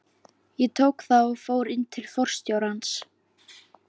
Ég tók það og fór inn til forstjórans.